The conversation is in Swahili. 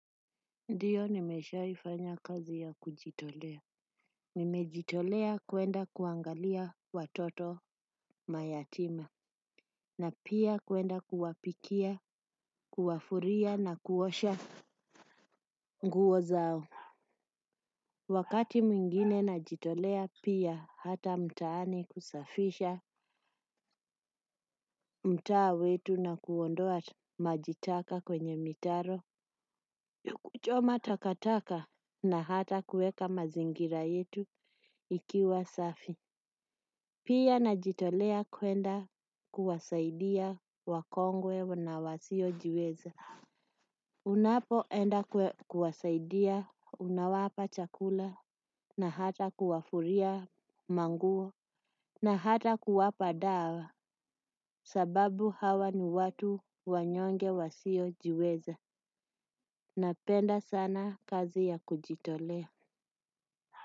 Ndio nimeshaifanya kazi ya kujitolea. Nimejitolea kuenda kuangalia watoto mayatima. Na pia kuenda kuwapikia, kuwafuria na kuosha nguo zao. Wakati mwingine najitolea pia hata mtaani kusafisha, mtaa wetu kuondoa maji taka kwenye mitaro kuchoma takataka na hata kuweka mazingira yetu ikiwa safi. Pia na jitolea kwenda kuwasaidia wakongwe na wasio jiweza. Unapoenda kuwasaidia unawapa chakula na hata kuwafuria manguo na hata kuwapa dawa sababu hawa ni watu wanyonge wasio jiweza. Napenda sana kazi ya kujitolea.